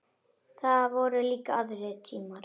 Það voru líka aðrir tímar.